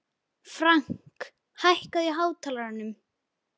Frank, hækkaðu í hátalaranum.